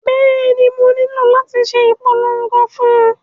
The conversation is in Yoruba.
Bẹ́ẹ̀ni, mo nílò láti ṣe ìpolongo fún un